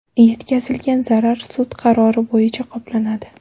Yetkazilgan zarar sud qarori bo‘yicha qoplanadi.